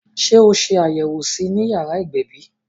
Sé o ṣe àbẹwò sí I ni yàrá ìgbẹ̀bí?